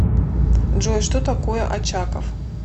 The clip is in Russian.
джой что такое очаков